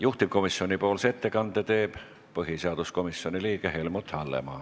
Juhtivkomisjoni ettekande teeb põhiseaduskomisjoni liige Helmut Hallemaa.